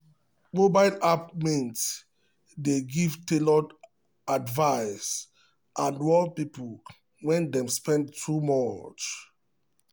mobile app mint dey give tailored advice and warn people when dem spend too much.